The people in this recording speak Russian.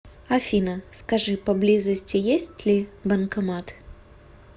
афина скажи поблизости есть ли банкомат